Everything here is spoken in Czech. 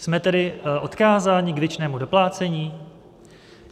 Jsme tedy odkázáni k věčnému doplácení?